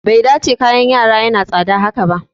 Bai dace kayan yara yana tsada haka ba